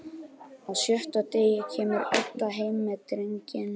Á sjötta degi kemur Edda heim með drenginn.